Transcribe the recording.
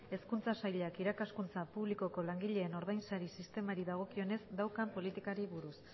hezkuntza sailak irakaskuntza publikoko langileen ordainsari sistemari dagokionez daukan politikari buruz